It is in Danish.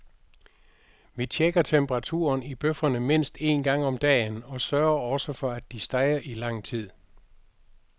Vi checker temperaturen i bøfferne mindst en gang om dagen, og sørger også for at de steger i lang tid.